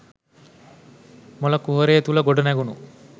මොල කුහරය තුළ ගොඩනැඟුණු